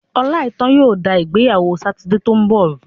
Ọláìítán yóò da ìgbéyàwó Sátidé tó ń bọ̀ rú.